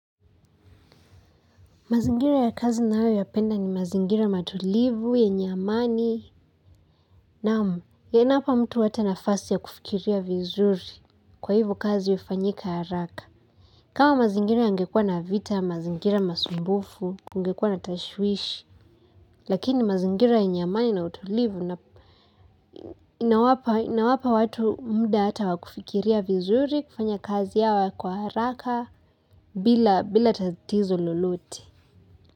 Mazingira ya kazi ninayo yapenda ni mazingira matulivu, yenye amani, naam mtu hata nafasi ya kufikiria vizuri kwa hivyo kazi hufanyika haraka. Kama mazingira yangekua na vita, mazingira masumbufu, kungekuwa na tashwishi, lakini mazingira yenye amani na utulivu na inawapa watu muda hata wa kufikiria vizuri kufanya kazi yao kwa haraka bila bila tatizo lolote.